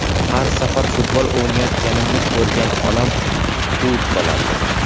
Har safar futbol o‘ynayotganimni ko‘rgan onam quvib solardi.